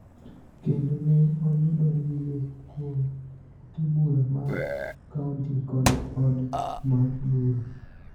kendo ne oyudo yie kuom ute bura mag kaonti kod od mar bura.